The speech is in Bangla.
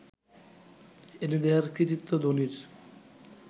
এনে দেয়ার কৃতিত্ব ধোনির